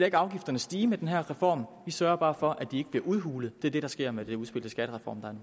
ikke afgifterne stige med den her reform vi sørger bare for at de ikke bliver udhulet det er det der sker med det her udspil til skattereform der